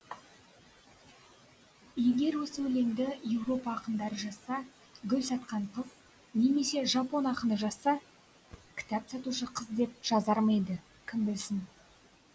егер осы өлеңді еуропа ақындары жазса гүл сатқан қыз немесе жапон ақыны жазса кітап сатушы қыз деп жазар ма еді кім білсін